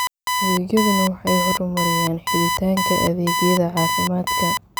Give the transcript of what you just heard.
Adeegyadani waxay horumariyaan helitaanka adeegyada caafimaadka.